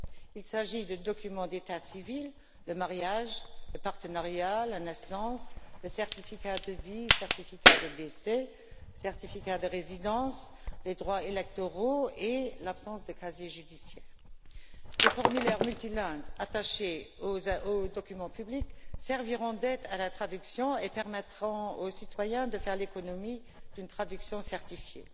Il s'agit des documents d'état civil le mariage, le partenariat, la naissance, le certificat de vie, le certificat de décès, le certificat de résidence, les droits électoraux et l'absence de casier judiciaire. Des formulaires multilingues attachés aux documents publics serviront d'aide à la traduction et permettront aux citoyens de faire l'économie d'une traduction certifiée.